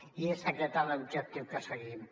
i és aquest l’objectiu que seguim